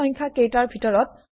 দিয়া সংখ্যা কেইতাৰ ভিতৰত